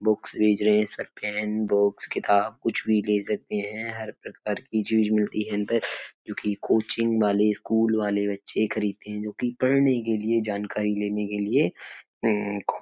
Books erasers pen box किताब कुछ भी ले सकते हैं। हर प्रकार की चीज मिलती है इनपे जोकि कोचिंग वाले स्कूल वाले बच्चे खरीदते हैं जोकि पढ़ने के लिए जानकारी लेने के लिए उम्म --